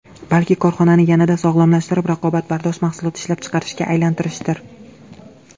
Balki, korxonani yanada sog‘lomlashtirib, raqobatbardosh mahsulot ishlab chiqarishga aylantirishdir”.